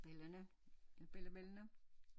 Børnene og børnebørnene